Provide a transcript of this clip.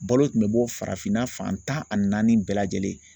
Balo tun bɛ bɔ farafinna fan tan ani naani bɛɛ lajɛlen na.